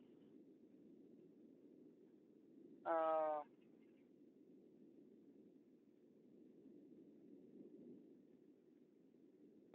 અ